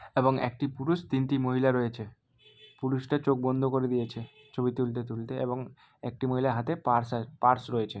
এবং একটি পুরুষ তিনটি মহিলা রয়েছে। পুরুষটা চোখ বন্ধ করে দিয়েছে ছবি তুলতে তুলতে এবং একটি মহিলার হাতে পার্স আ পার্স রয়েছে।